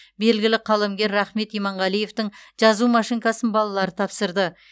белгілі қаламгер рахмет иманғалиевтің жазу машинкасын балалары тапсырды